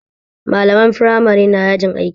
Malaman firamare na yajin aiki